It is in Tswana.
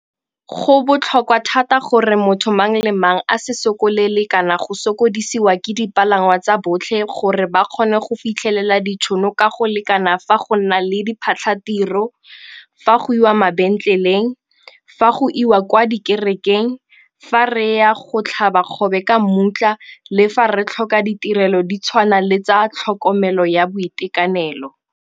Go botlhokwa thata gore motho mang le mang a se sokolele kana go sokodisiwa ke dipalangwa tsa botlhe gore ba kgone go fitlhelela ditšhono ka go lekana fa go na le diphatlhatiro, fa go iwa kwa mabentleleng, fa go iwa kwa dikerekeng, fa re ya go tlhaba kgobe ka mmutla le fa re tlhoka ditirelo di tshwana le tsa tlhokomelo ya boitekanelo.